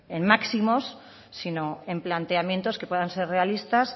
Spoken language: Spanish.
en máximos sino en planteamientos que puedan ser realistas